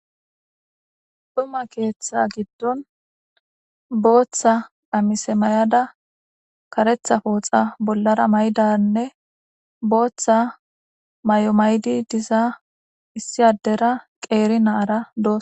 Xuma ketha gidon bota qamise ma'da karetha poxa bolara maydarane bota mayo ma'di diza issi adera qeri na'ara dosona.